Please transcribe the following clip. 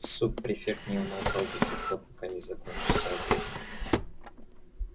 суб-префект не умолкал до тех пор пока не закончился обед